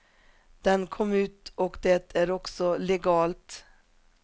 Den kom ut och det är också legalt.